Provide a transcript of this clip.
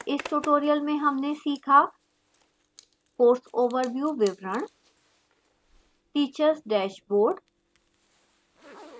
इस tutorial में हमने सीखा course overview विवरण teachers dashboard